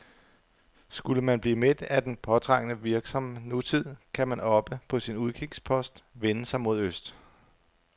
Skulle man blive mæt af den påtrængende, virksomme nutid, kan man oppe på sin udkigspost vende sig mod øst.